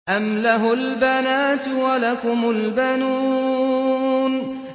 أَمْ لَهُ الْبَنَاتُ وَلَكُمُ الْبَنُونَ